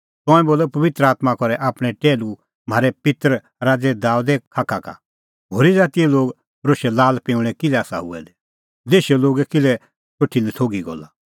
तंऐं बोलअ पबित्र आत्मां करै आपणैं टैहलू म्हारै पित्तर राज़ै दाबेदे खाखा का होरी ज़ातीए लोग रोशै लाल पिंऊंल़ै किल्है आसा हुऐ दै देशे लोगै किल्है सोठी नथोघी गल्ला